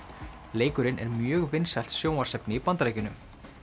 leikurinn er mjög vinsælt sjónvarpsefni í Bandaríkjunum